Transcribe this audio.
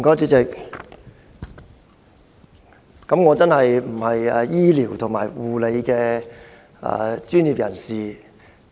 主席，我並非醫療或護理專業人員。